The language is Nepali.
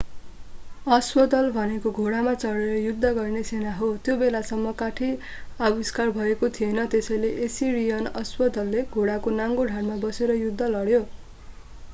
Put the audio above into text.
अश्वदल भनेको घोडामा चढेर युद्ध गर्ने सेना हो त्यो बेलासम्म काठी आविष्कार भएको थिएन त्यसैले एसिरियन अश्वदलले घोडाको नाङ्गो ढाडमा बसेर युद्ध लड्यो